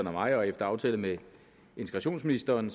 og mig og efter aftale med integrationsministeren